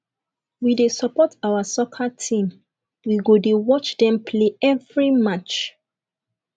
we dey support our soccer team we go dey watch dem play every match